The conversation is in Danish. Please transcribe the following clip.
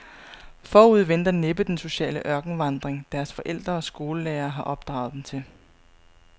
Forude venter næppe den sociale ørkenvandring, deres forældre og skolelærere har opdraget dem til.